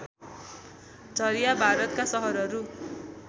झरिया भारतका सहरहरू